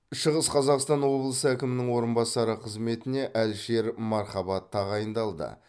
шығыс қазақстан облысы әкімінің орынбасары қызметіне әлішер мархабат тағайындалды